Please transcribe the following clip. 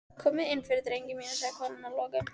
Komiði innfyrir, drengir mínir, sagði konan að lokum.